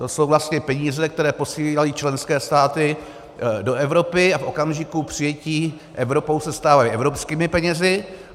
To jsou vlastně peníze, které posílají členské státy do Evropy a v okamžiku přijetí Evropou se stávají evropskými penězi.